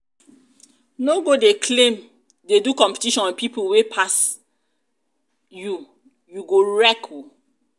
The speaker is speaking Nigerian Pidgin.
no go dey claim dey do competition with pipo wey pass pipo wey pass you you go wreck oo